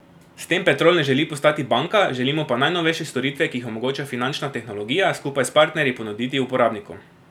S tem Petrol ne želi postati banka, želimo pa najnovejše storitve, ki jih omogoča finančna tehnologija, skupaj s partnerji, ponuditi uporabnikom.